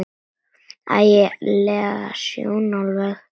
Ægi leg sjón alveg.